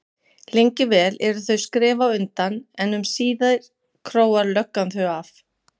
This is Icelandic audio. Lengi vel eru þau skrefi á undan en um síðir króar löggan þau af.